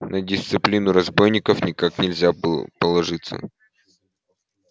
на дисциплину разбойников никак нельзя положиться